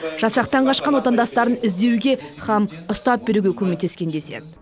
жасақтан қашқан отандастарын іздеуге һәм ұстап беруге көмектескен деседі